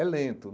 É lento.